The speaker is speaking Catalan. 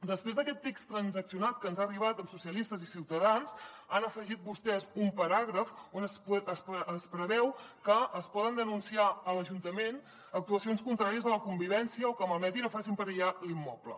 després d’aquest text transaccionat que ens ha arribat amb socialistes i ciutadans han afegit vostès un paràgraf on es preveu que es poden denunciar a l’ajuntament actuacions contràries a la convivència o que malmetin o facin perillar l’immoble